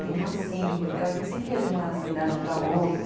Tem uma cinco, então a gente sempre ia de uma unidade para outra.